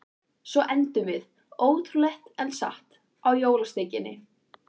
Svo endum við, ótrúlegt en satt, á jólasteikinni.